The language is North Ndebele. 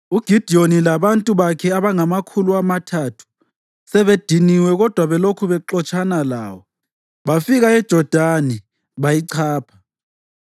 UGidiyoni labantu bakhe abangamakhulu amathathu sebediniwe kodwa belokhu bexotshana lawo, bafika eJodani bayichapha.